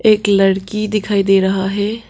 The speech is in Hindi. एक लड़की दिखाई दे रहा है।